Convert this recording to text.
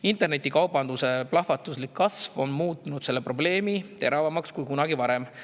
Internetikaubanduse plahvatuslik kasv on muutnud selle probleemi teravamaks kui kunagi varem.